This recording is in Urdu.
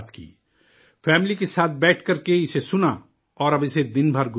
فیملی کے ساتھ بیٹھ کر کے اسے سنا اور اب اسے دن بھر گنگنائیں گے بھی